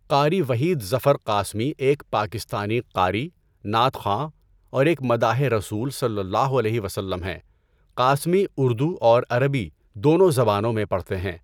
قاری وحید ظفر قاسمی ایک پاکستانی قاری، نعت خواں، اور ایک مداحِ رسول صلی اللہ علیہ وسلم ہیں۔ قاسمی اردو اور عربی دونوں زبانوں میں پڑھتے ہیں۔